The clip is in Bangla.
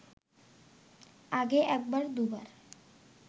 আগে একবার দু’বার